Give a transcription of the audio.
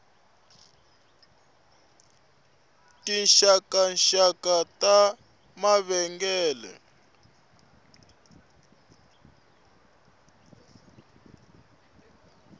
tinxakanxaka ta mavengele